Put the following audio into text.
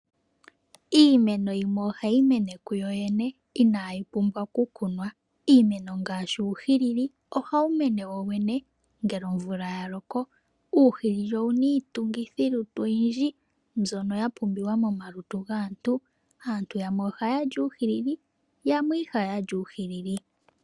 Iimeno yimwe ohayi mene kuyoyene inayi pumbwa okukunwa, iimeno ngaashi uuhilili ohawu mene wowene ngele omvula yaloko , uuhilili owuna iitungithilutu oyindji mbyono yapumbiwa moma lutu gaantu. Aantu yamwe ohaali uuhilili nayamwe ihaali uuhilili.